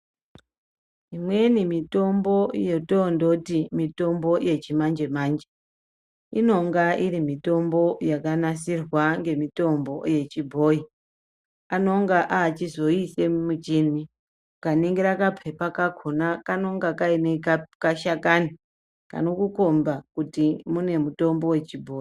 Imweni mitombo yotondoti mitombo yechimanje-manje inonga iri mitombo yakanasirwa ngemitombo yechibhoyi anonga achizoiise mumichini ukaningira kapepa kakhona kanenge Kaine kashakani kanokukomba kuti mune mutombo wechibhoyi.